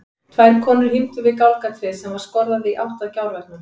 Tvær konur hímdu við gálgatréð sem var skorðað í gátt í gjárveggnum.